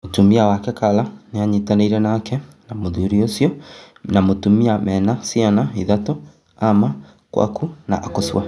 Mũtumia wake Kala nĩanyitanĩire nake na mũthuri ũcio na mũtumia mena ciana ithatũ-Ama, Kwaku na Akosua